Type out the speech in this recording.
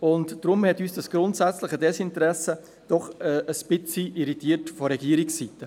Deshalb hat uns dieses grundsätzliche Desinteresse vonseiten der Regierung doch ein wenig irritiert.